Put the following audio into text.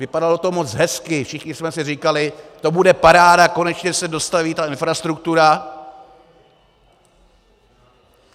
Vypadalo to moc hezky, všichni jsme si říkali, to bude paráda, konečně se dostaví ta infrastruktura...